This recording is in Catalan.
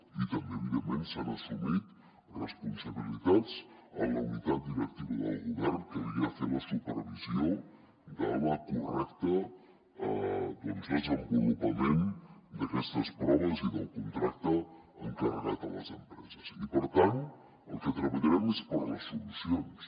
i també evidentment s’han assumit responsabilitats en la unitat directiva del govern que havia de fer la supervisió del correcte desenvolupament d’aquestes proves i del contracte encarregat a les empreses i per tant el que treballarem és per les solucions